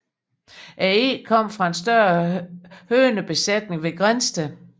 Æggene kom fra en større hønebesætning ved Grindsted